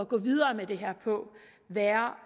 gå videre med det her på være